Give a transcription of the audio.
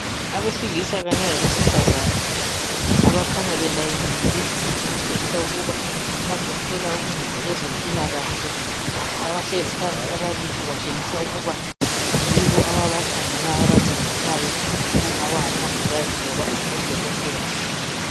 Abesilisa labesifazane abakhanya belayinile okutshengisa ukuba bazothola uncedo kwezempilakahle. Abahlezi phansi ababili kutshengisa ukuba yibo ababakhangelayo ababancedisayo kungaba ngomongikazi loba odokotela.